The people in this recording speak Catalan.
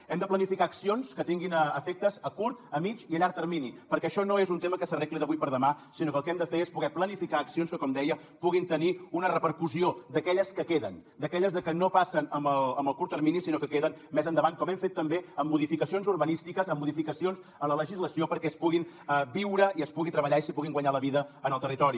hem de planificar accions que tinguin efectes a curt a mitjà i a llarg termini perquè això no és un tema que s’arregli d’avui per demà sinó que el que hem de fer és poder planificar accions que com deia puguin tenir una repercussió d’aquelles que queden d’aquelles que no passen amb el curt termini sinó que queden més endavant com hem fet també amb modificacions urbanístiques amb modificacions a la legislació perquè es pugui viure i es pugui treballar i es puguin guanyar la vida al territori